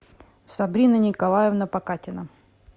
сабрина николаевна покатина